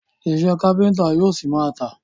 Iṣẹ́ káfíńńtà yóò ṣi máa tà.